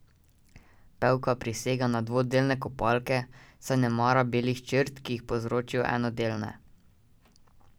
Pevka prisega na dvodelne kopalke, saj ne mara belih črt, ki jih povzročijo enodelne.